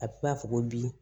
A b'a fɔ ko bi